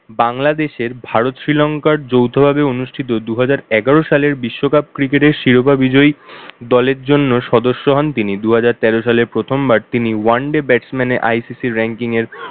বাংলাদেশের ভারত শ্রীলংকার যৌথভাবে অনুষ্ঠিত দুই হাজার এগারো সালের বিশ্বকাপ cricket এর শিরোপা বিজয়ী দলের জন্য সদস্য হন তিনি, দুহাজার তের সালের প্রথমবার তিনি one day batsman এ ICC ranking এর